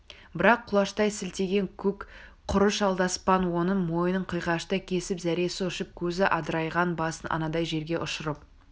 бірақ құлаштай сілтеген көк құрыш алдаспан оның мойнын қиғаштай кесіп зәресі ұшып көзі адырайған басын анадай жерге ұшырып